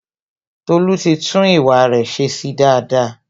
Tolu ti tún ìwà re se sí daada